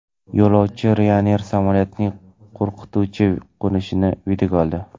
Yo‘lovchi Ryanair samolyotining qo‘rqituvchi qo‘nishini videoga oldi.